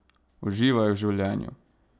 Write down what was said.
Uživaj v življenju!